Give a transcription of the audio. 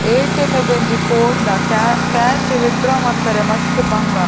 ATM ಗು ಒಂಜಿ ಪೋಂಡ ಕ್ಯಾ ಕ್ಯಾಶ್ ವಿದ್ ಡ್ರಾ ಮನ್ಪರೆ ಮಸ್ತ್ ಬಂಗ.